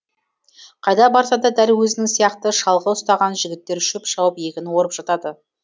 қайда барса да дәл өзінің сияқты шалғы ұстаған жігіттер шөп шауып егін орып жатады